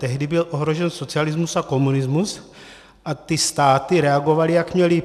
Tehdy byl ohrožen socialismus a komunismus a ty státy reagovaly, jak měly.